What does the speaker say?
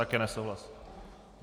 Také nesouhlas.